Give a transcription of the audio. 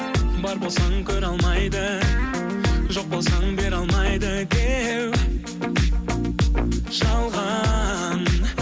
бар болсаң көре алмайды жоқ болсаң бере алмайды деу жалған